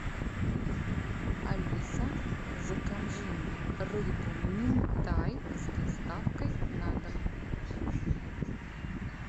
алиса закажи мне рыбу минтай с доставкой на дом